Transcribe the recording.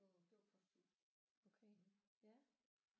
Det var det var posthuset